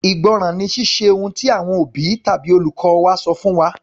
Ìgbọ́ràn ni Ṣíṣe ohun tí àwọn òbí tàbí olùkọ́ wa sọ fún wa.